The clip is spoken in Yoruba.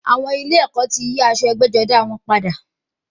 Àwọn ilé ẹ̀kọ́ ti yí aṣọ ẹgbẹ́-jọdá wọn padà.